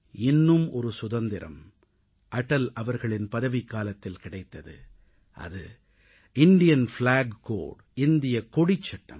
இன்னும் ஒரு சுதந்திரம் அடல் அவர்களின் பதவிக்காலத்தில் கிடைத்தது அது இந்தியக் கொடிச் சட்டம்